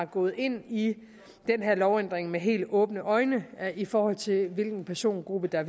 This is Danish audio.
gået ind i den her lovændring med helt åbne øjne i forhold til hvilken persongruppe der